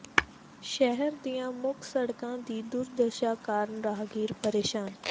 ਸ਼ਹਿਰ ਦੀਆਂ ਮੁੱਖ ਸੜਕਾਂ ਦੀ ਦੁਰਦਸ਼ਾ ਕਾਰਨ ਰਾਹਗੀਰ ਪ੍ਰੇਸ਼ਾਨ